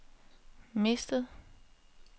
mistet